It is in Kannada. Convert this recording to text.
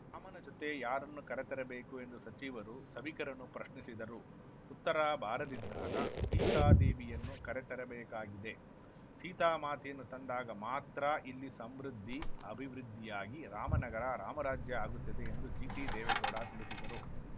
ರಾಮನ ಜತೆ ಯಾರನ್ನು ಕರೆತರಬೇಕು ಎಂದು ಸಚಿವರು ಸಭಿಕರನ್ನು ಪ್ರಶ್ನಿಸಿದರು ಉತ್ತರ ಬಾರದಿದ್ದಾಗ ಸೀತಾದೇವಿಯನ್ನು ಕರೆತರಬೇಕಾಗಿದೆ ಸೀತಾಮಾತೆಯನ್ನು ತಂದಾಗ ಮಾತ್ರ ಇಲ್ಲಿ ಸಮೃದ್ಧಿ ಅಭಿವೃದ್ಧಿಯಾಗಿ ರಾಮನಗರ ರಾಮರಾಜ್ಯ ಆಗುತ್ತದೆ ಎಂದು ಜಿಟಿದೇವೇಗೌಡ ತಿಳಿಸಿದರು